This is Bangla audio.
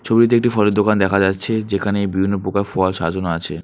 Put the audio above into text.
ছবিটিতে একটি ফলের দোকান দেখা যাচ্ছে যেখানে বিভিন্নপ্রকার ফল সাজানো আছে।